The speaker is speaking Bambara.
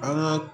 An ka